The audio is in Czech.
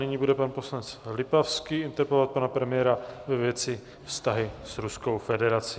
Nyní bude pan poslanec Lipavský interpelovat pana premiéra ve věci vztahu s Ruskou federací.